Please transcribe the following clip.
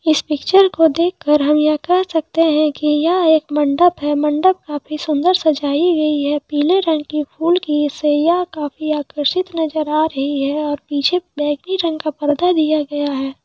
इस पिक्चर को देखकर हम ये कह सकते है की यह एक मंडप है मंडप काफी सुंदर सजाई गई है पीले रंग की फूल की सैया काफी अकृषित नजर आ रही है और पीछे बैंगनी रंग का पर्दा भी दिया गया है।